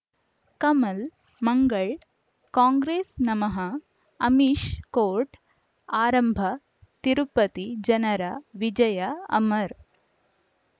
Kamal Mangal Congress ನಮಃ Amish court ಆರಂಭ ತಿರುಪತಿ ಜನರ ವಿಜಯ ಅಮರ್